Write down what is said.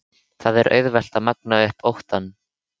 Það er auðvelt að magna upp óttann.